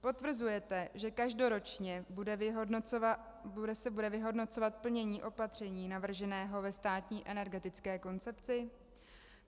Potvrzujete, že každoročně se bude vyhodnocovat plnění opatření navrženého ve státní energetické koncepci?